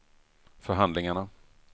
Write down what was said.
förhandlingarna